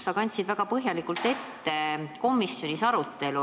Sa kandsid väga põhjalikult ette komisjoni arutelu.